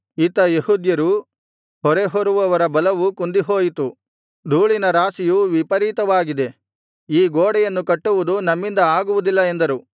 ಇತ್ತ ಯೆಹೂದ್ಯರು ಹೊರೆ ಹೊರುವವರ ಬಲವು ಕುಂದಿಹೋಯಿತು ಧೂಳಿನ ರಾಶಿಯು ವಿಪರೀತವಾಗಿದೆ ಈ ಗೋಡೆಯನ್ನು ಕಟ್ಟುವುದು ನಮ್ಮಿಂದ ಆಗುವುದಿಲ್ಲ ಎಂದರು